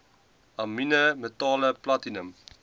amiene metale platinum